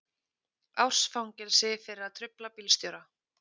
Árs fangelsi fyrir að trufla bílstjóra